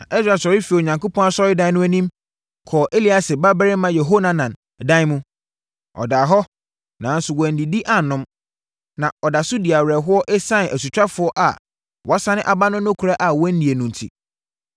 Na Ɛsra sɔre firii Onyankopɔn Asɔredan no anim kɔɔ Eliasib babarima Yehohanan dan mu. Ɔdaa hɔ, nanso wannidi annom. Na ɔda so di awerɛhoɔ ɛsiane asutwafoɔ a wɔasane aba no nokorɛ a wɔannie no enti.